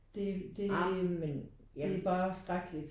Det det det er bare skrækkeligt